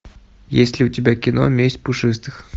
есть ли у тебя кино месть пушистых